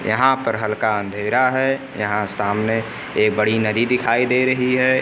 यहां पर हल्का अंधेरा है यहां सामने बड़ी नदी दिखाई दे रही है।